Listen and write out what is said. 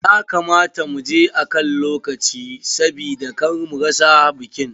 Ya kamata mu je akan lokaci sabida kar mu rasa bikin.